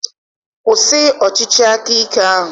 Kwụsị ọchịchị aka ike ahụ!